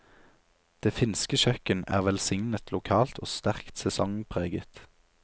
Det finske kjøkken er velsignet lokalt og sterkt sesongpreget.